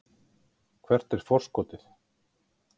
Hvert er forskotið?